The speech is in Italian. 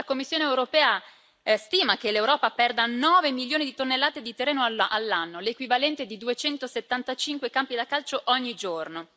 La Commissione europea stima che l'Europa perda 9 milioni di tonnellate di terreno all'anno, l'equivalente di 275 campi da calcio, ogni giorno.